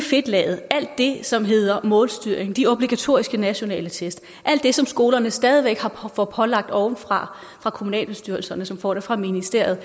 fedtlaget alt det som hedder målstyring de obligatoriske nationale test alt det som skolerne stadig væk får pålagt ovenfra fra kommunalbestyrelserne som får det fra ministeriet